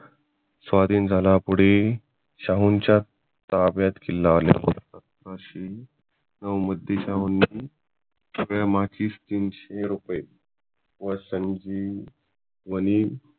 स्वाधीन झाला पुढे शाहुंच्या ताब्यात किल्ला आल्यानंतर व मुद्दे शाहूंनी सगळ्या तीनशे रुपये व संजीवनी